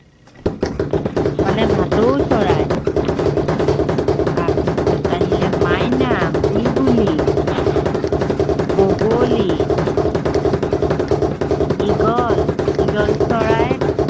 মানে ভাটৌ চৰাই। তাৰপিছত আহিলে মাইনা, বুলবুলি, বগলী ঈগল, ঈগল চৰাই।